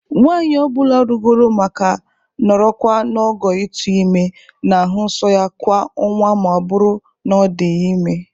Nwaanyị ọ bụla rugoro ma ka nọrọkwa n'ogo itu ime na-ahụ nsọ ya kwa ọnwa ma ọbụrụ na ọdịghi ime.